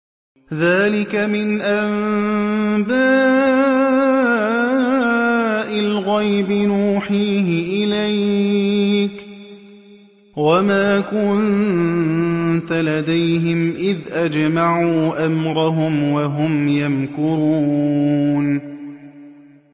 ذَٰلِكَ مِنْ أَنبَاءِ الْغَيْبِ نُوحِيهِ إِلَيْكَ ۖ وَمَا كُنتَ لَدَيْهِمْ إِذْ أَجْمَعُوا أَمْرَهُمْ وَهُمْ يَمْكُرُونَ